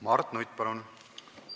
Mart Nutt, palun!